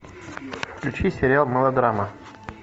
включи сериал мылодрама